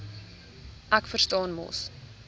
ek verstaan mos